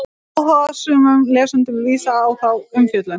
Áhugasömum lesanda er vísað á þá umfjöllun.